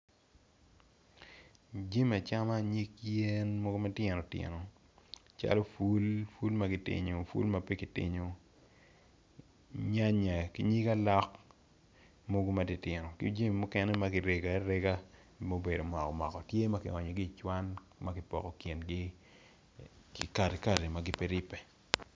Jimi acama nyig yen mogo matino tino calo pul, pul ma pe ki tinyo nyanya ki nyig alok mogo matitino ki jimi mukene ma kirego arega mubedo moko moko tye ma onyo i cwan ma ki poko kingi ki katkati ma pe giripe.